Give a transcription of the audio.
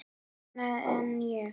Annað en ég.